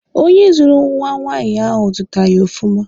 Onye zụrụ nwa nwaanyị ahụ zụtara ya ọfụma.